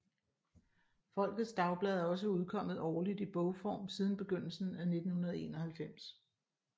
Folkets Dagblad er også udkommet årligt i bogform siden begyndelsen i 1991